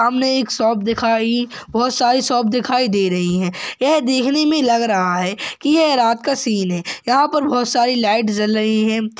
हमने एक शॉप दिखाई वह सारी शॉप दिखाई दे रही है यह देखने मे लग रहा है कि ये रात का सीन है यहाँ पर बहुत सारी लाइट जल रही है।